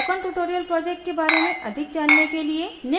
spoken tutorial project के बारे में अधिक जानने के लिए